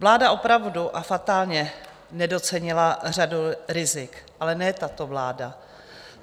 Vláda opravdu - a fatálně - nedocenila řadu rizik, ale ne tato vláda.